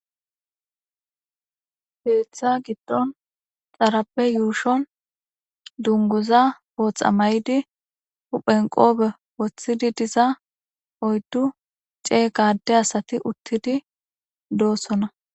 heeththa giddon xarabe yuushon dunguza pootha may7di huphenqobe woththidi diza oyddu cee gaade asati uttidi doossona